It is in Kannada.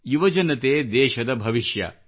ಯುವಜನತೆ ದೇಶದ ಭವಿಷ್ಯ